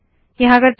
यहाँ करते है